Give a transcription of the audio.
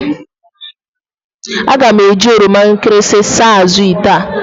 Aga m eji oroma nkịrịsị saa azụ̀ ite a.